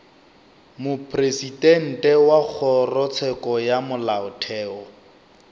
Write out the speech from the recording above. mopresidente wa kgorotsheko ya molaotheo